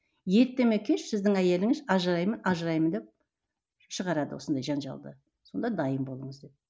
ерте ме кеш сіздің әйеліңіз ажыраймын ажыраймын деп шығарады осындай жанжалды сонда дайын болыңыз деп